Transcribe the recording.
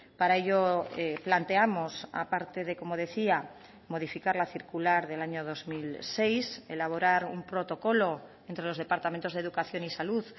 para ello planteamos aparte de como decía modificar la circular del año dos mil seis elaborar un protocolo entre los departamentos de educación y salud